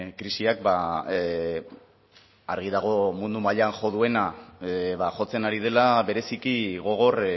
krisiak argi dago mundu mailan jo duena ba jotzen ari dela bereziki gogor